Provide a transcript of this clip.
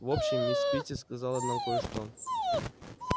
в общем мисс питти сказала нам кое-что